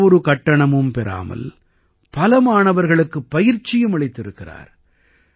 எந்த ஒரு கட்டணமும் பெறாமல் பல மாணவர்களுக்குப் பயிற்சியும் அளித்திருக்கிறார்